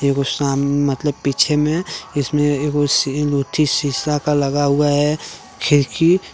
मतलब पीछे में इसमें शीशा का लगा हुआ है खिरकी ।